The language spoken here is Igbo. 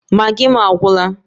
Maggi m agwụla